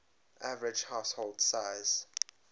average household size